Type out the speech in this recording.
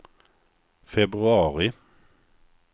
februari